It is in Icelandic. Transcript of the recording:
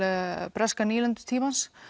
breska nýlendu tímans